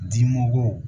Dimɔgɔw